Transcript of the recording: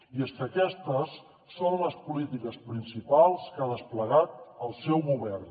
i és que aquestes són les polítiques principals que ha desplegat el seu govern